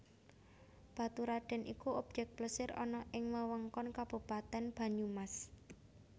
Baturradèn iku obyèk plesir ana ing Wewengkon Kabupatén Banyumas